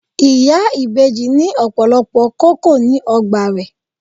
Ìyá ìbejì ní ọ̀pọ̀lọpọ̀ kókò ní ọgbà rè.